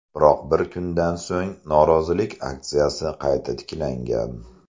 Biroq bir kundan so‘ng norozilik aksiyasi qayta tiklangan.